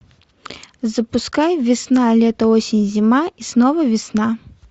запускай весна лето осень зима и снова весна